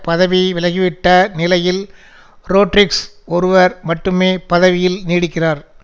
பதவி விலகிவிட்ட நிலையில் ரோட்ரிக்ஸ் ஒருவர் மட்டுமே பதவியில் நீடிக்கிறார்